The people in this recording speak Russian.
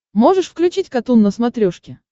можешь включить катун на смотрешке